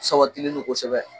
Sabatini non kosɛbɛ